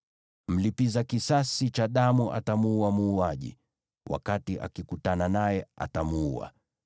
Mlipiza kisasi cha damu atamuua muuaji; wakati akikutana naye, atamuua.